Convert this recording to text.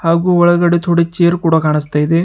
ಹಾಗು ಒಳಗಡೆ ತೊಡ ಚೇರ್ ಕೂಡ ಕಾಣಿಸುತ್ತಿದೆ.